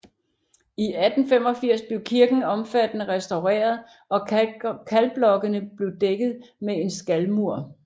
I 1885 blev kirken omfattende restaureret og kalkblokkene blev dækket med en skalmur